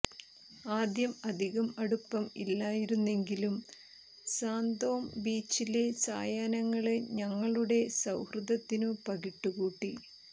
ആദ്യം അധികം അടുപ്പം ഇല്ലായിരുന്നെങ്കിലും സാന്തോം ബീച്ചിലെ സായാഹ്നങ്ങള് ഞങ്ങളുടെ സൌഹൃദത്തിനു പകിട്ട് കൂട്ടി